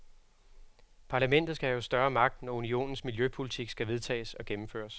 Parlamentet skal have større magt, når unionens miljøpolitik skal vedtages og gennemføres.